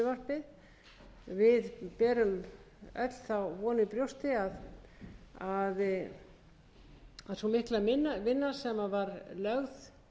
frumvarpið við berum öll þá von í brjósti að sú mikla vinna sem var lögð